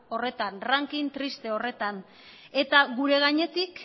horretan ranking triste horretan eta gure gainetik